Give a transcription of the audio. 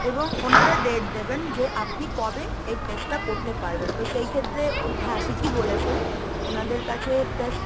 এবং ওনারা date দেবেন যে আপনি কবে এই test টা করতে পারবেন তো সেই ক্ষেত্রে হ্যা ঠিকই বলেছেন ওনাদের কাছে test,